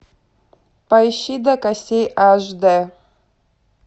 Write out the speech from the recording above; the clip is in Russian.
поищи до костей аш д